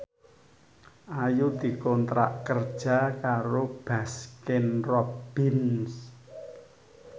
Ayu dikontrak kerja karo Baskin Robbins